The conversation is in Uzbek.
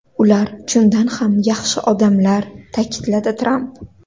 Ular chindan ham yaxshi odamlar”, ta’kidladi Tramp.